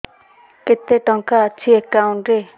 କେତେ ଟଙ୍କା ଅଛି ଏକାଉଣ୍ଟ୍ ରେ